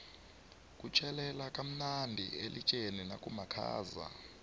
kutjhelela kamnadi elitjeni nakumakhaza